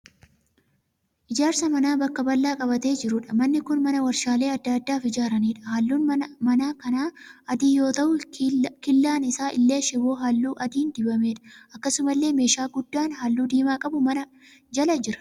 Ijaarsa manaa bakka bal'aa qabatee jiruudha. Manni kun mana warshaalee adda addaaf ijaaraniidha. halluun mana kanaa adii yoo ta'u killaan isaa illee shiboo halluu adiin dibameedha. Akkasumallee meeshaa guddaan halluu diimaa qabu mana jala jira.